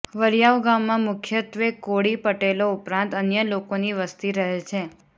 વરિયાવ ગામમાં મુખ્યત્વે કોળી પટેલો ઉપરાંત અન્ય લોકોની વસ્તી રહે છે